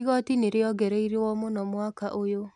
Igoti nĩriongereiruo mũno mwaka ũyũ.